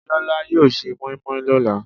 Bíọ́lá yóò se mọ́ímọ́í lọ́la.